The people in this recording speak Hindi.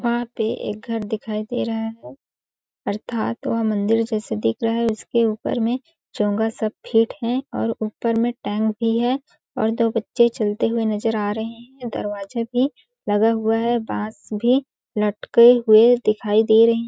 वहाँ पे एक घर दिखाई दे रहा है अर्थात् वह मंदिर जैसे दिख रहा है उसके ऊपर में चोंगा सब फिट है और ऊपर में टैंक भी है और दो बच्चे चलते हुए नज़र आ रहे है दरवाजा भी लगा हुआ है बांस भी लटके हुए दिखाई दे रहे--